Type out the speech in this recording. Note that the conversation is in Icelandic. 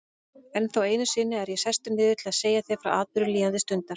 Ennþá einu sinni er ég sestur niður til að segja þér frá atburðum líðandi stundar.